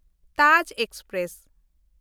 Taj express